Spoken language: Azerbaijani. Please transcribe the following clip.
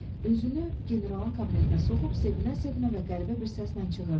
Özünü generalın kabinetinə soxub sevinə-sevinə və qəribə bir səslə çığırdı: